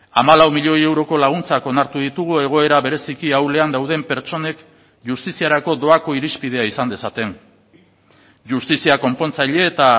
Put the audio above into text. hamalau milioi euroko laguntzak onartu ditugu egoera bereziki ahulean dauden pertsonek justiziarako doako irizpidea izan dezaten justizia konpontzaile eta